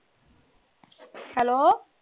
hello